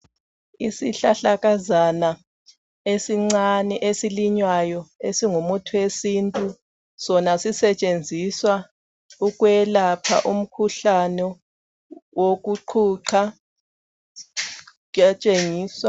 Isihlahlakazana esincane esilinywayo esingumuthi wesintu sona sisetshenziswa ukwelapha umkhuhlane wokuqhuqha, kuyatshengiswa.